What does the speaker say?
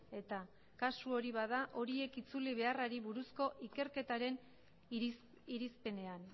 eta kasu hori bada horiek itzuli beharrari buruzko ikerketaren irizpenean